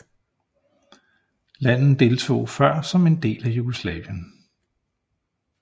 Landen deltog før som en del af Jugoslavien